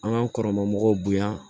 An k'an kɔrɔman mɔgɔw bonya